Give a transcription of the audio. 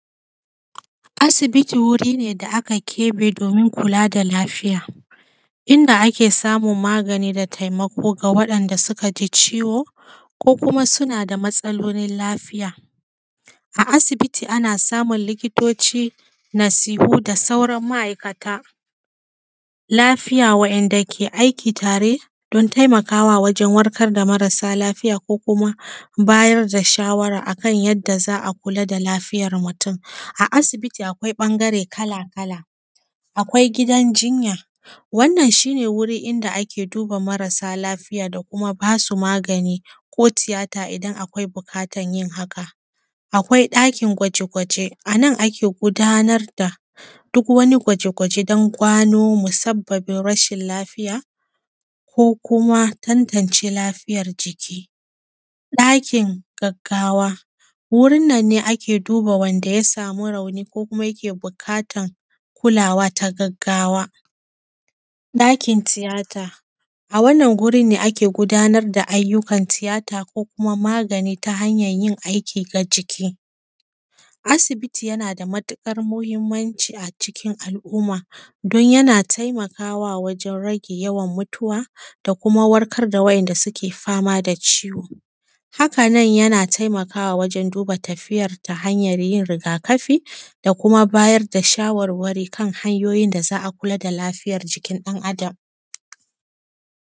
Asibiti wuri ne da aka kebe domin kula da lafiya, inda ake samun magani da taimako ga waɗanda suka ji ciwo, ko kuma suna da matsalolin lafiya. A asibiti ana samun likitoci, nasihu da sauran ma’aikatan lafiya wanda ke aiki tare don taimakawa wajen warkar da marasa lafiya ko kuma bayar da shawara akan yadda za a kula da lafiyar mutum. A asibiti akwai ɓangare kala kala, akwai gidan jinya wannan shi ne wuri inda ake duba marasa lafiya da kuma basu magani ko tiyata idan akwai buƙatan yin haka. Akwai ɗakin gwaje-gwaje anan ake gudanar da duk wani gwaje-gwaje don gano musabbabin rashin lafiya, ko kuma tantance lafiyar jiki. ɗakin gaggawa wurin nan ne ake duba wanda ya samu rauni ko kuma yake buƙatan kulawa ta gaggawa. ɗakin tiyata, a wannan gurin ne ake gudanar da ayyukan tiyata ko kuma magani ta hanyan yin aiki ga jiki. Asibiti yana da matuƙar muhimmanci a cikin al’umma don yana taimakawa wajen rage yawan mutuwa da kuma warkar da wa’inda suke fama da ciwo, haka nan yana taimakawa wajen duba tafiya ta hanyan yin rigakafi da kuma bayar da shawarwari kan hanyoyin da za a kula da lafiyar jikin dan Adam.